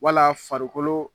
Wala farikolo